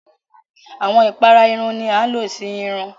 Awọn ìpàrà ẹ̀rùn ni àń ló sí ẹ̀rùn.